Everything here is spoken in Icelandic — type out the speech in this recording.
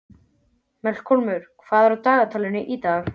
Melkólmur, hvað er í dagatalinu í dag?